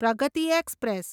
Pragati express